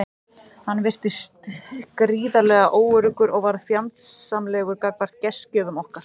Hann virtist gríðarlega óöruggur og varð fjandsamlegur gagnvart gestgjöfum okkar.